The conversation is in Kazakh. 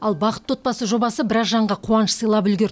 ал бақытты отбасы жобасы біраз жанға қуаныш сыйлап үлгерді